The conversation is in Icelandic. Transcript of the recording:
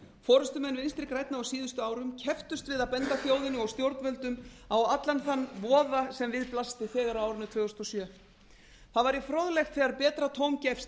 forustumenn vinstri grænna á síðustu árum kepptust við að benda þjóðinni og stjórnvöldum á allan þann voða sem við blasti þegar á árinu tvö þúsund og sjö það væri fróðlegt þegar betra tóm gefst